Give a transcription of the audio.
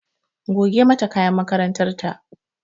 Goge mata kayan makarantar ta!